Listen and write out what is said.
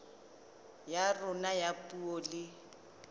ya rona ya puo le